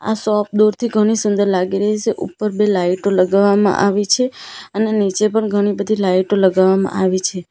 આ શોપ દૂરથી ઘણી સુંદર લાગી રહી છે ઉપર બે લાઈટો લગાવવામાં આવી છે અને નીચે પણ ઘણી બધી લાઇટો લગાવવામાં આવી છે.